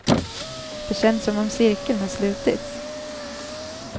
Det känns som om cirkeln har slutits.